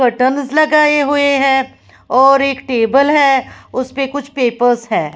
Curtains लगाये हुए हैं और एक टेबल हैं उसमे कुछ पेपर्स हैं।